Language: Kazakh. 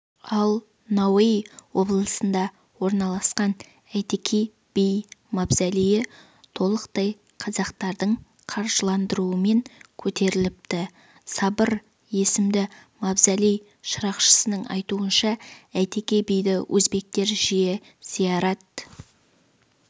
ал науаи облысында орналасқан әйтеке би мавзолейі толықтай қазақтардың қаржыландыруымен көтеріліпті сабыр есімді мавзолей шырақшысының айтуынша әйтеке биді өзбектер жиі зиярат